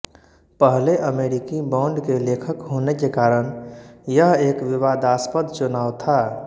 पहले अमरिकी बॉण्ड के लेखक होने के कारण यह एक विवादास्पद चुनाव था